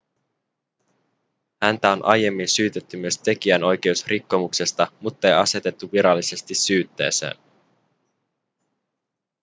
häntä on aiemmin syytetty myös tekijänoikeusrikkomuksesta muttei asetettu virallisesti syytteeseen